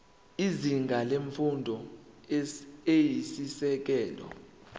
izinga lemfundo eyisisekelo